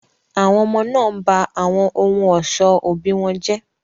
Àwọn ọmọ náà ń ba àwọn ohun ọ̀ṣọ́ òbí wọn jẹ́.